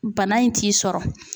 Bana in t'i sɔrɔ.